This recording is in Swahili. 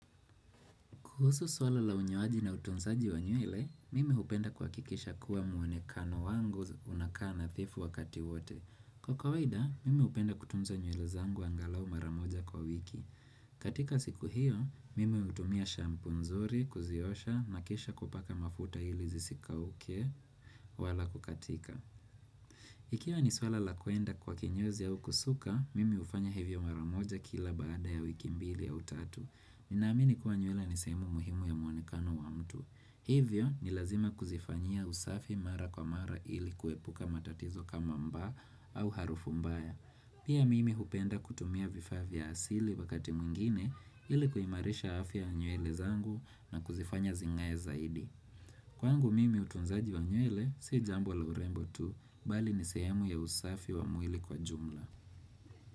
Kuhusu swala la unyoaji na utunzaji wa nywele, mimi hupenda kuhakikisha kuwa mwonekano wangu unakaa nadhifu wakati wote. Kwa kawaida, mimi hupenda kutunza nywele zangu angalau mara moja kwa wiki. Katika siku hiyo, mimi hutumia shampoo nzuri, kuziosha, na kisha kupaka mafuta ili zisikauke wala kukatika. Ikiwa ni swala la kwenda kwa kenyozi au kusuka, mimi hufanya hivyo mara moja kila baada ya wiki mbili au tatu. Ninaamini kuwa nywele nisehemu muhimu ya mwonekano wa mtu Hivyo ni lazima kuzifanya usafi mara kwa mara ili kuepuka matatizo kama mba au harufu mbaya Pia mimi hupenda kutumia vifaa vya asili wakati mwingine ili kuimarisha afya ya nywele zangu na kuzifanya zingae zaidi Kwangu mimi utunzaji wa nywele, si jambo la urembo tu, bali nisehemu ya usafi wa mwili kwa jumla.